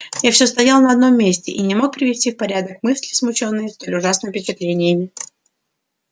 я все стоял на одном месте и не мог привести в порядок мысли смущённые столь ужасными впечатлениями